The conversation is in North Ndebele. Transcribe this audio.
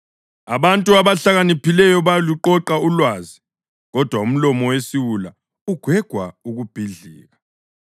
Abantu abahlakaniphileyo bayaluqoqa ulwazi, kodwa umlomo wesiwula ugwegwa ukubhidlika.